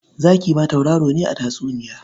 Zaki ma tauraro ne a tatsuniya.